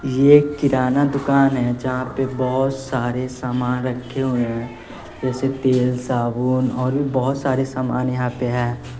ये एक किराना दुकान है जहां पे बहोत सारे समान रखे हुए हैं जैसे तेल साबुन और भी बहोत सारे समान यहां पे हैं।